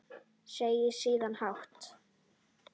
Segir síðan hátt: